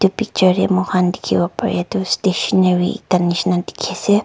Picture tey moi han dekhe bo pareya tue stationary ek da nei shena dekhe ase.